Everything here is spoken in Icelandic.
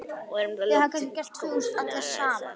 Og erum þá loksins komnar að Salóme.